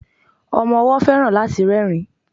Ọmọ ọwó feran láti rerin